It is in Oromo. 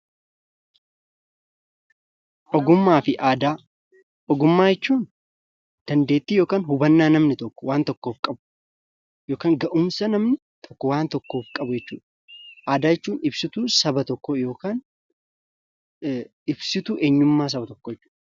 Ogummaa fi Aadaa. Ogummaa jechuun dandeettii yookaan hubannaa namni tokko waan tokkoof qabu yookaan ga'umsa namni tokko waan tokkoof qabu jechuu dha. Aadaa jechuun ibsituu saba tokkoo (ibsituu eenyummaa saba tokkoo) jechuu dha.